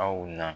Aw na